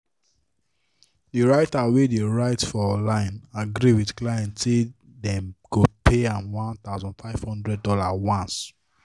the writer wey dey write for online agree with client say dem go pay am one thousand five hundred dollars once